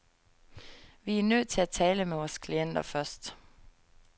Vi er nødt til at tale med vores klienter først.